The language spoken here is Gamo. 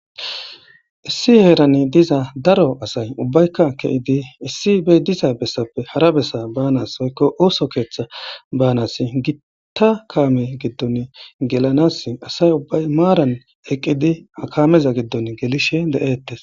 Issi heerani diza daro asay ubbaykka ke'idi issi bey diza bessappe hara bessa baanas hoykko ooso keeththa baanas gitta kaame giddon gelanas asay ubbay maaran eqqidi akameza giddon gelishe de'eettes